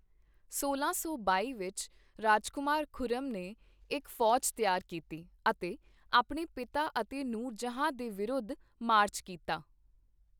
ਸੋਲਾਂ ਸੌ ਬਾਈ ਵਿੱਚ ਰਾਜਕੁਮਾਰ ਖੁਰਮ ਨੇ ਇੱਕ ਫੌਜ ਤਿਆਰ ਕੀਤੀ ਅਤੇ ਆਪਣੇ ਪਿਤਾ ਅਤੇ ਨੂਰਜਹਾਂ ਦੇ ਵਿਰੁੱਧ ਮਾਰਚ ਕੀਤਾ।